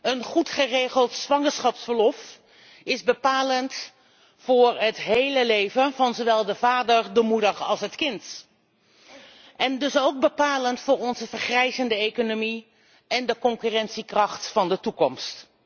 Een goed geregeld zwangerschapsverlof is bepalend voor het hele leven van zowel de vader, de moeder als het kind en dus ook bepalend voor onze vergrijzende economie en de concurrentiekracht van de toekomst.